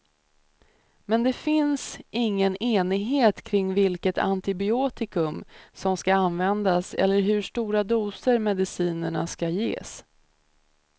Men det finns ingen enighet kring vilket antibiotikum som skall användas eller i hur stora doser medicinerna skall ges.